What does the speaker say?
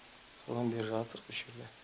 содан бері жатырқ осы жерде